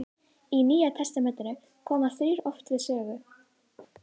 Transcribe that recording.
Í Nýja testamentinu koma þrír oft við sögu.